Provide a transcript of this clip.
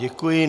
Děkuji.